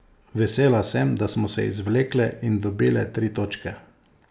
Vesela sem, da smo se izvlekle in dobile tri točke.